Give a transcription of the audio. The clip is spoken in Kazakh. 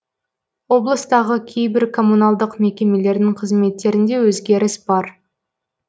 облыстағы кейбір коммуналдық мекемелердің қызметтерінде өзгеріс бар